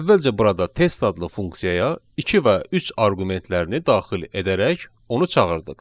Əvvəlcə burada test adlı funksiyaya iki və üç arqumentlərini daxil edərək onu çağırdıq.